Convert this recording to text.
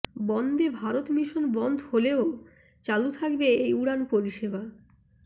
বন্দে Bharat mission বন্ধ হলেও চালু থাকবে এই উড়ান পরিষেবা